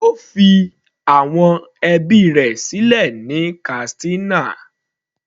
Ó fi àwọn ẹbí rẹ̀ sílẹ̀ ní Katsina.